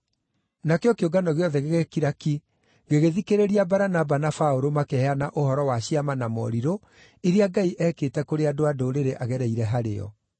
Nakĩo kĩũngano gĩothe gĩgĩkira ki gĩgĩthikĩrĩria Baranaba na Paũlũ makĩheana ũhoro wa ciama na morirũ iria Ngai eekĩte kũrĩ andũ-a-Ndũrĩrĩ agereire harĩo.